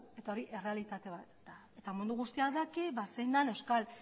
eta hori errealitate bat da eta mundu guztiak daki zein den euskal